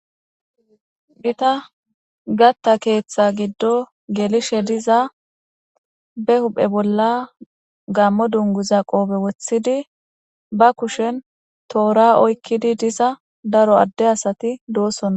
Bita gatta keeththa giddo gelishe diza be huphe bolla gammo dunguza qoobe woththidi ba kushen toora oykkidi diza daro adde asati doossonna